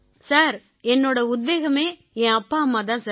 sir என்னோட உத்வேகமே என் அப்பாஅம்மா தான் சார்